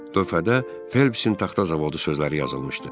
Lövhədə Felpsin taxta zavodu sözləri yazılmışdı.